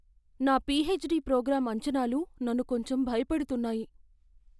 నా PhD programme అంచనాలు నన్ను కొంచెం భయపెడుతున్నాయి.